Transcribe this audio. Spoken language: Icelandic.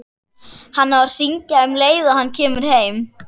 Hann á að hringja um leið og hann kemur heim.